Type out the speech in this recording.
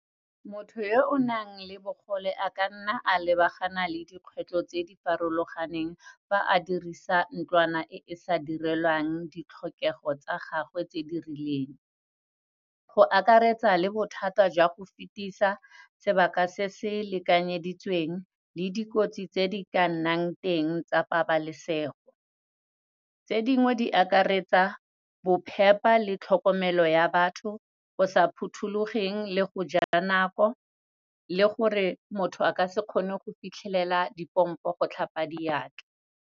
Motho yo o nang le bogole, a ka nna a lebagana le dikgwetlho tse di farologaneng fa a dirisa ntlwana e sa direlwang ditlhokego tsa gagwe tse di rileng. Go akaretsa le bothata jwa go fetisa, sebaka se se lekanyeditsweng le dikotsi tse di ka nnang teng tsa pabalesego. Tse dingwe, di akaretsa, bophepa le tlhokomelo ya batho go sa phuthulogileng, le go ja nako, le gore motho a ka se kgone go fitlhelela dipompo go tlhapa diatla.